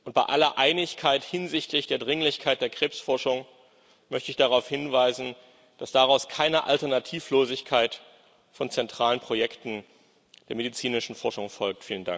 Bei aller Einigkeit hinsichtlich der Dringlichkeit der Krebsforschung möchte ich darauf hinweisen, dass daraus keine Alternativlosigkeit von zentralen Projekten der medizinischen Forschung folgt.